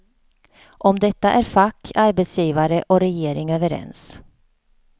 Om detta är fack, arbetsgivare och regering överens.